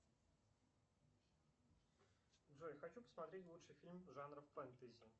джой хочу посмотреть лучший фильм жанра фэнтези